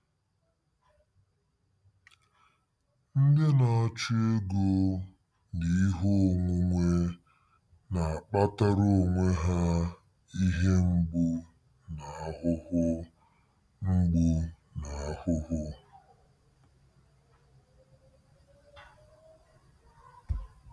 Ndị na-achụ ego na ihe onwunwe na-akpatara onwe ha ihe mgbu na ahụhụ mgbu na ahụhụ.